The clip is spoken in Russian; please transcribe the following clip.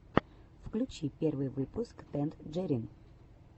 включи первый выпуск тэнджерин